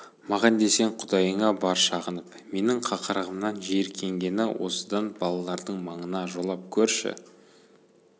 маған десең құдайыңа бар шағынып менің қақырығымнан жиіркенгені осыдан балалардың маңына жолап көрші